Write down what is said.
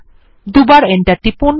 দুবার এন্টার টিপুন